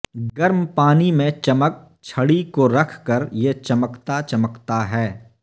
گرم پانی میں چمک چھڑی کو رکھ کر یہ چمکتا چمکتا ہے